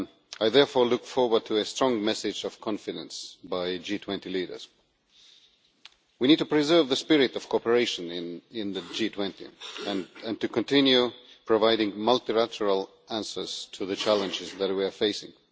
I therefore look forward to a strong message of confidence from G20 leaders. We need to preserve the spirit of cooperation in the G20 and to continue providing multilateral answers to the challenges that we are facing.